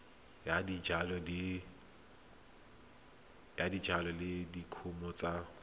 ya dijalo le dikumo tsa